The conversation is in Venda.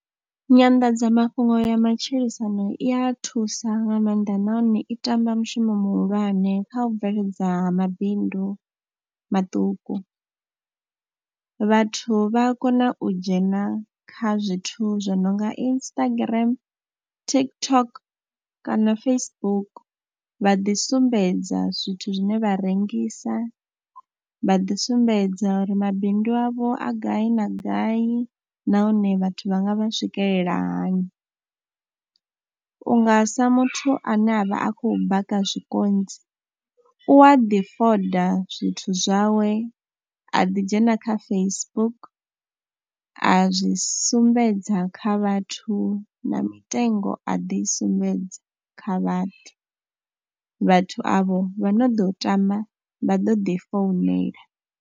Nyanḓadzamafhungo ya matshilisano i a thusa nga maanḓa nahone i tamba mushumo muhulwane kha u bveledza ha mabindu maṱuku, vhathu vha a kona u dzhena kha zwithu zwo no nga Instagram, TikTok kana Facebook vha ḓi sumbedza zwithu zwine vha rengisa, vha ḓi sumbedza uri mabindu avho a gai na gai nahone vhathu vha nga vha swikelela hani. U nga sa muthu ane a vha a khou baka zwikontsi u a ḓi fonda zwithu zwawe a ḓidzhena kha Facebook a zwi sumbedza kha vhathu na mitengo, a ḓi sumbedza kha vhathu, vhathu avho vha no ḓo tama vha ḓo ḓi founela.